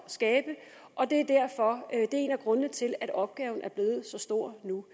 skabe og det er en af grundene til at opgaven er blevet så stor nu